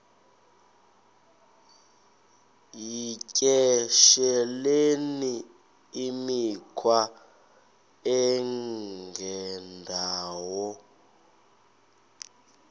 yityesheleni imikhwa engendawo